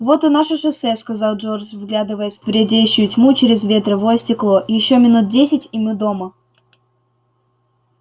вот и наше шоссе сказал джордж вглядываясь в редеющую тьму через ветровое стекло и ещё минут десять и мы дома